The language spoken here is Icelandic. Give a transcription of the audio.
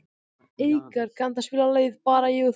Eikar, kanntu að spila lagið „Bara ég og þú“?